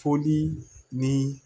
Foli ni